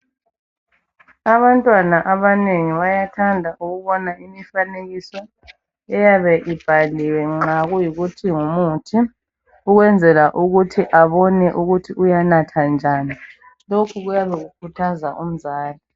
Abantwana abanengi bayathanda ukubona imifanekiso eyabe ibhaliwe nxa kuyikuthi ngumuthi ukwenzela ukuthi abone ukuthi uyanatha njani. Lokhu kuyabe kukhuthaza umzali.